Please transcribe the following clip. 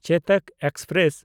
ᱪᱮᱛᱚᱠ express